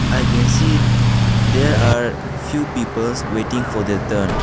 i can see there are few peoples waiting for their turn.